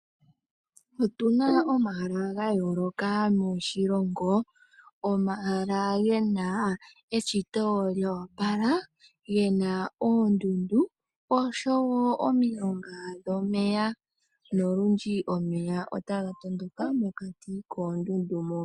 Otuna omahala ga yooloka moshilongo, omahala ge na eshito lya opala, ge na oondundu osho wo omilonga dhomeya, nolundji omeya otaga tondoka mokati koondundu mo.